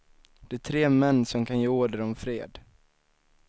De tre män som kan ge order om fred.